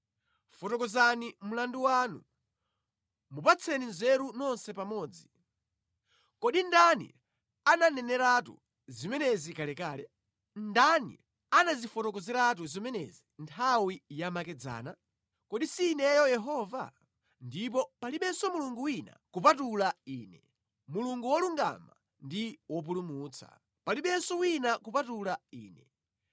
Fotokozani mlandu wanu, mupatsane nzeru nonse pamodzi. Kodi ndani ananeneratu zimenezi kalekale? Ndani anazifotokozeratu zimenezi nthawi yamakedzana? Kodi si Ineyo Yehova? Ndipo palibenso Mulungu wina kupatula Ine, Mulungu wolungama ndi Wopulumutsa, palibenso wina kupatula Ine.